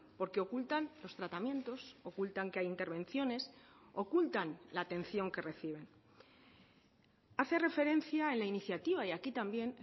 porque ocultan los tratamientos ocultan que hay intervenciones ocultan la atención que reciben hace referencia en la iniciativa y aquí también